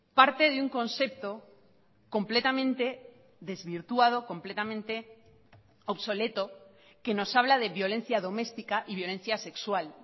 parte de un concepto completamente desvirtuado completamente obsoleto que nos habla de violencia doméstica y violencia sexual